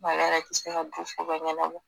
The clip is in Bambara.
Ale yɛrɛ bi se ka du ko bɛɛ ɲɛnabɔ.